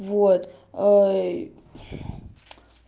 вот